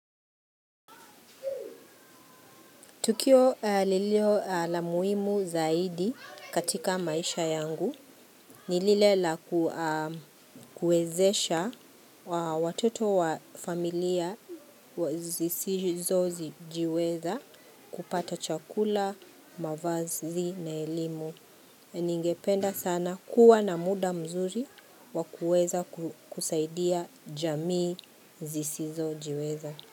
Tukio lilio la muhimu zaidi katika maisha yangu. Ni lile la kuezesha watoto wa familia zisizo jiweza kupata chakula, mavazi na elimu. Ningependa sana kuwa na muda mzuri wa kueza kusaidia jamii zisizojiweza.